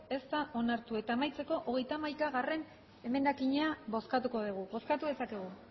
ez da onartu eta amaitzeko hogeita hamaikagarrena emendakina bozkatuko dugu bozkatu dezakegu